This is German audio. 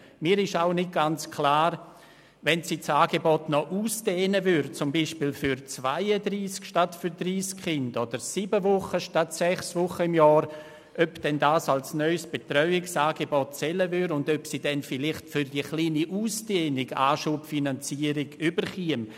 Mir ist auch nicht ganz klar, ob bei einer Ausweitung des Angebots auf beispielsweise 32 statt 30 Kinder oder sieben statt sechs Wochen im Jahr dies als neues Betreuungsangebot gelten und ob sie für diese kleine Ausdehnung eine Anschubfinanzierung erhalten würde.